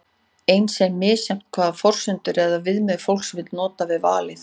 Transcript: eins er misjafnt hvaða forsendur eða viðmið fólk vill nota við valið